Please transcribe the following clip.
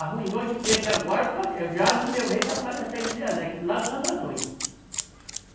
Arruinou de peixe agora, por causa, já no meu ver, já por causa dessa hidrelétrica lá do Santo Antônio.